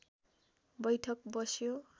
बैठक बस्यो